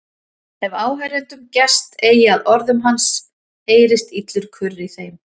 Ef áheyrendum gest eigi að orðum hans heyrist illur kurr í þeim.